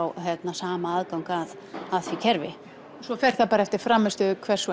sama aðgang að því kerfi fer þá bara eftir frammistöðu hvers